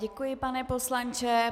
Děkuji, pane poslanče.